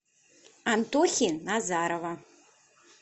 антохи назарова